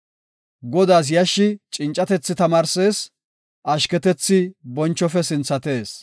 Godaas yashshi cincatethi tamaarsees; ashketethi bonchofe sinthatees.